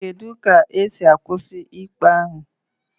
Kedu ka esi akwụsị ikpe ahụ